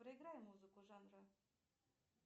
проиграй музыку жанра